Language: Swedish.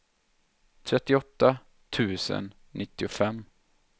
trettioåtta tusen nittiofem